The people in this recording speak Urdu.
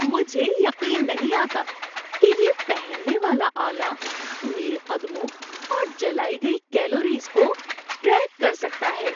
مجھے یقین نہیں آتا کہ یہ پہننے والا آلہ میرے قدموں اور جلائی گئی کیلوریز کو ٹریک کر سکتا ہے۔